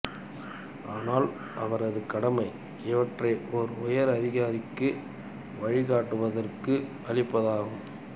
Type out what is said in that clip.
ஆனால் அவரது கடமை இவற்றை ஒரு உயர் அதிகாரிக்கு வழிகாட்டுவதற்கு அளிப்பதே ஆகும்